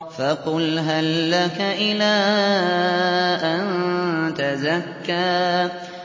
فَقُلْ هَل لَّكَ إِلَىٰ أَن تَزَكَّىٰ